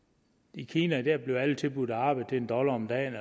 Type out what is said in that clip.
i kina bliver alle tilbudt arbejde til en dollar om dagen